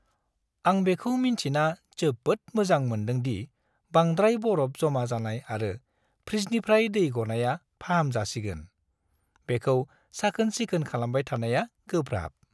आं बेखौ मिन्थिना जोबोद मोजां मोनदों दि बांद्राय बरफ जमा जानाय आरो फ्रिजनिफ्राय दै गनाया फाहामजासिगोन- बेखौ साखोन-सिखोन खालामबाय थानाया गोब्राब।